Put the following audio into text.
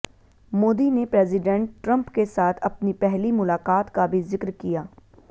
मोदी ने president Trump के साथ अपनी पहली मुलाकात का भी जिक्र किया